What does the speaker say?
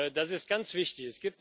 Das ist ganz wichtig.